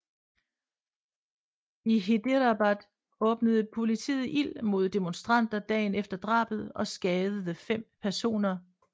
I Hyderabad åbnede politiet ild mod demonstranter dagen efter drabet og skadede fem personer